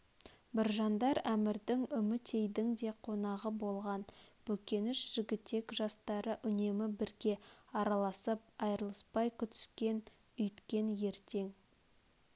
біржандар әмірдің үмітейдің де қонағы болған бөкенш жігітек жастары үнемі бірге араласып айрылыспай күтіскен үйткен ертең